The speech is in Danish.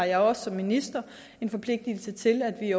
jeg har som minister en forpligtelse til at vi